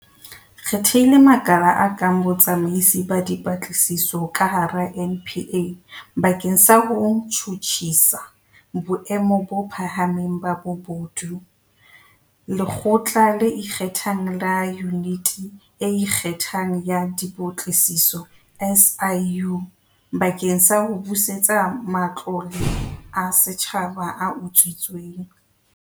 Re thehile makala a matjha, a kang Botsamaisi ba Dipatlisiso ka hara NPA bakeng sa ho tjhutjhisa boemo bo phahameng ba bobodu, Lekgotla le Ikgethang la Yuniti e Ikgethang ya Dipatlisiso, SIU, bakeng sa ho busetsa matlole a setjhaba a utswitsweng.